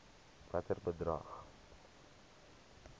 watter bedrag